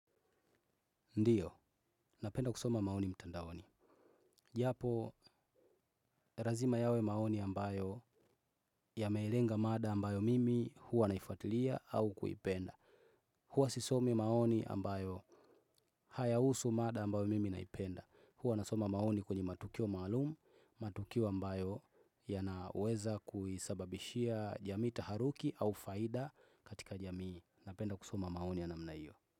Ndiyo, napenda kusoma maoni mtandaoni. Japo, lazima yawe maoni ambayo yamelenga mada ambayo mimi huwa naifuatilia au kuipenda. Huwa sisomi maoni ambayo haya husu mada ambayo mimi naipenda. Huwa nasoma maoni kwenye matukio maalumu, matukio ambayo yanaweza kuisababishia jamii taharuki au faida katika jamii. Napenda kusoma maoni ya namna hiyo.